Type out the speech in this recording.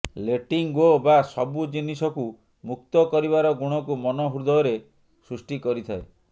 letting go ବା ସବୁ ଜିନିଷକୁ ମୁକ୍ତ କରିବାର ଗୁଣକୁ ମନ ହୃଦୟରେ ସୃଷ୍ଟି କରିଥାଏ